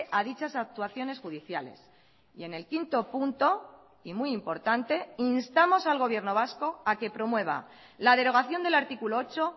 a dichas actuaciones judiciales y en el quinto punto y muy importante instamos al gobierno vasco a que promueva la derogación del artículo ocho